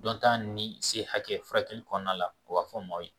Dɔnta ni se hakɛ furakɛli kɔnɔna la u b'a fɔ maaw ye